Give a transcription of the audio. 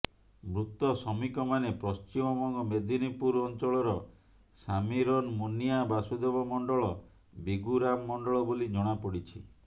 ମୃତ ଶ୍ରମିକ ମାନେ ପଶ୍ଚିମବଙ୍ଗ ମେଦିନପୁର ଅଞ୍ଚଳର ସାମୀରନ ମୁନିଆ ବାସୁଦେବ ମଣ୍ଡଳ ବିଗୁରାମ ମଣ୍ଡଳ ବୋଲି ଜଣାପଡିଛି